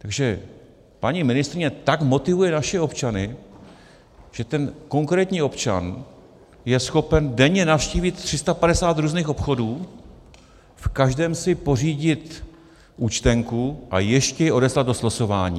Takže paní ministryně tak motivuje naše občany, že ten konkrétní občan je schopen denně navštívit 350 různých obchodů, v každém si pořídit účtenku a ještě ji odeslat do slosování.